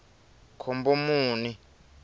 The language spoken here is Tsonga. khombomuni